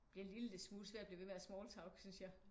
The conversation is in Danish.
Bliver en lille smule svært at blive ved med at smalltalk synes jeg